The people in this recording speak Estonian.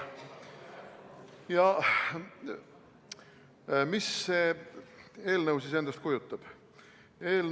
Aga mida see eelnõu endast kujutab?